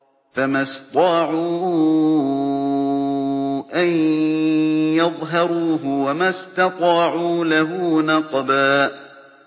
فَمَا اسْطَاعُوا أَن يَظْهَرُوهُ وَمَا اسْتَطَاعُوا لَهُ نَقْبًا